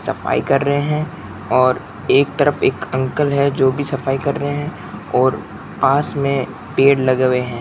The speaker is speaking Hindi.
सफाई कर रहे हैं और एक तरफ एक अंकल है जो कि सफाई कर रहे हैं और पास में पेड़ लगे हुए हैं।